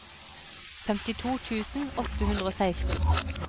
femtito tusen åtte hundre og seksten